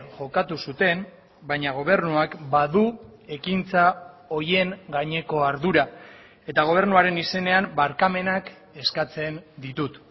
jokatu zuten baina gobernuak badu ekintza horien gaineko ardura eta gobernuaren izenean barkamenak eskatzen ditut